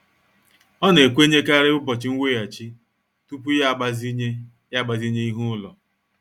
Ọ na-ekwenyekarị ụbọchị nweghachi tupu ya agbazinye ya agbazinye ihe ụlọ.